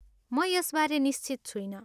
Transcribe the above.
म यसबारे निश्चित छुइनँ।